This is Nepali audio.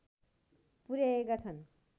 पुर्‍याएका छन्